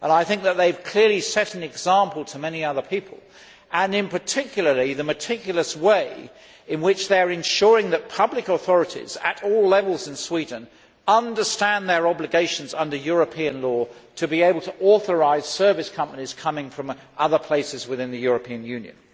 I think that they have clearly set an example to many other people and, in particular, in the meticulous way in which they are ensuring that public authorities at all levels in Sweden understand their obligations under European law in order to be able to authorise service companies coming from other places within the European Union.